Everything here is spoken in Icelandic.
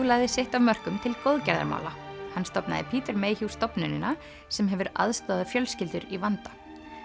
lagði sitt af mörkum til góðgerðarmála hann stofnaði Peter Mayhew stofnunina sem hefur aðstoðað fjölskyldur í vanda